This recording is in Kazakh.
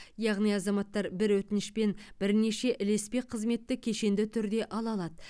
яғни азаматтар бір өтінішпен бірнеше ілеспе қызметті кешенді түрде ала алады